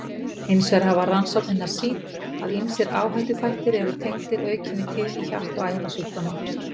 Hins vegar hafa rannsóknirnar sýnt, að ýmsir áhættuþættir eru tengdir aukinni tíðni hjarta- og æðasjúkdóma.